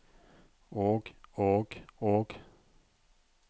og og og